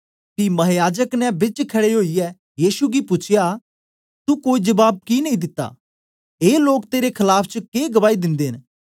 पी महायाजक ने बिच खड़े ओईयै यीशु गी पूछया तू कोई जबाब कि नेई दिता ए लोक तेरे खलाफ च के गवाही दिंदे न